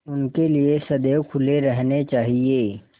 उनके लिए सदैव खुले रहने चाहिए